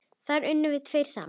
Þar unnum við tveir saman.